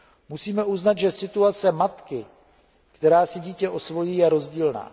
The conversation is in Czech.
Musíme uznat, že situace matky, která si dítě osvojí, je rozdílná.